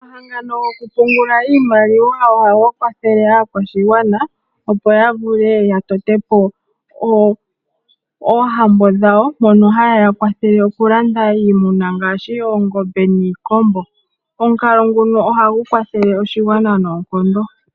Omahangano goku pungula iimaliwa ohaga kwathele aakwashigwana, opo ya vule ya tote po oohambo dhawo mono haya kwathele oku landa iimuna ngaashi oongombe niikombo. Omukalo nguno ohagu kwathele oshigwana noonkondo.